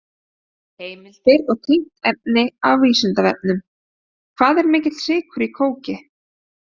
Heimildir og tengt efni á Vísindavefnum: Hvað er mikill sykur í kóki?